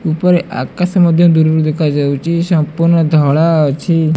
ଉପରେ ଆକାଶ ମଧ୍ୟ ଦୂରରୁ ଦେଖାଯାଉଚି। ସମ୍ପୂର୍ଣ ଧଳା ଅଛି।